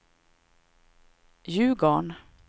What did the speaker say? Ljugarn